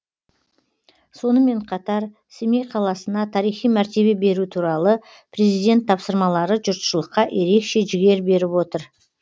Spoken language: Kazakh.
сонымен қатар семей қаласына тарихи мәртебе беру туралы президент тапсырмалары жұртшылыққа ерекше жігер беріп отыр